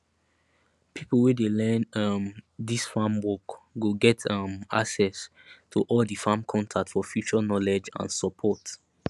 pipo wey dey learn um dis farm work go get um access to all di farm contact for future knowledge and support